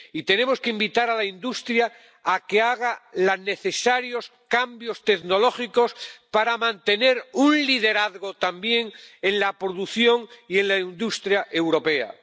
Y tenemos que invitar a la industria a que haga los necesarios cambios tecnológicos para mantener un liderazgo también en la producción y en la industria europeas.